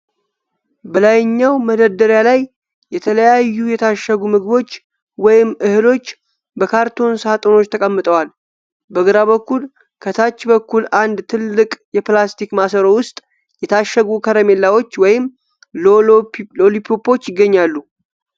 በላይኛው መደርደሪያ ላይ የተለያዩ የታሸጉ ምግቦች ወይም እህሎች በካርቶን ሳጥኖች ተቀምጠዋል። በግራ በኩል ከታች በኩል አንድ ትልቅ የፕላስቲክ ማሰሮ ውስጥ የታሸጉ ከረሜላዎች ወይም ሎሊፖፖች ይገኛሉ